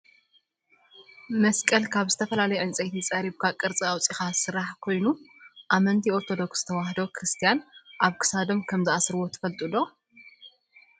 መስቀል ካብ ዝተፈላለዩ ዕንፀይቲ ፀሪብካ ቅርፂ ኣውፅኢካ ዝስራሕ ኮይኑ ኣመንቲ ኦርቶዶክስ ተዋህዶ ክርስትያን ኣብ ክሳዶም ከም ዝኣስርዎ ትፈልጡ ዶ ?